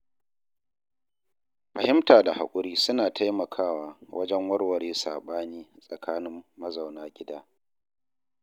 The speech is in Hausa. Fahimta da hakuri suna taimakawa wajen warware saɓani tsakanin mazauna gida.